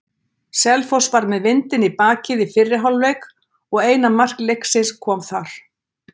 Selfoss var með vindinn í bakið í fyrri hálfleik og eina mark leiksins kom þar.